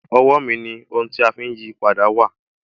Owó mi ni ohun tí a fi ń yí à padà wà.